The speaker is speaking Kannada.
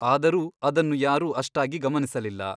ಆದರೂ ಅದನ್ನು ಯಾರು ಅಷ್ಟಾಗಿ ಗಮನಿಸಲಿಲ್ಲ.